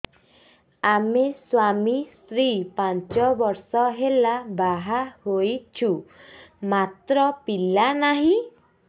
ଆମେ ସ୍ୱାମୀ ସ୍ତ୍ରୀ ପାଞ୍ଚ ବର୍ଷ ହେଲା ବାହା ହେଇଛୁ ମାତ୍ର ପିଲା ନାହିଁ